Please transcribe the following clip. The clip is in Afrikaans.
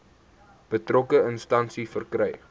betrokke instansie verkry